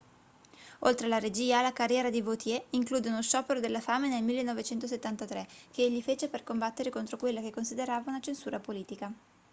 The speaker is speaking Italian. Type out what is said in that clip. oltre alla regia la carriera di vautier include uno sciopero della fame nel 1973 che egli fece per combattere contro quella che considerava una censura politica